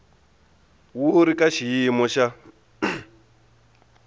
wu ri ka xiyimo xa